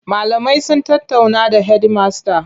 Malamai sun tattaunawa da hedimasta.